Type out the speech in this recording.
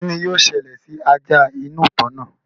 kín ni yóò ṣẹlẹ̀ sí ajá inú ìtàn náà?